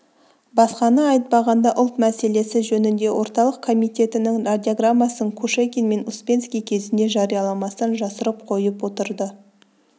басқаны айтпағанда ұлт мәселесі жөнінде орталық комитетінің радиограммасын кушекин мен успенский кезінде жарияламастан жасырып қойып отырды